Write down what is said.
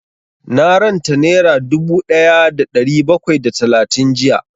Na ranta nera dubu ɗaya da ɗari bakwai da talatin jiya